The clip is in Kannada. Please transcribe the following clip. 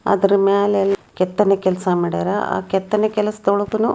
ಅದರ ಮ್ಯಾಲೆ ಯಲ್ಲ ಕೆತ್ತನ ಕೆಲಸಾ ಮಾಡ್ಯಾರ. ಆ ಕೆತ್ತನ ಕೆಲಸದೊಳಗನು --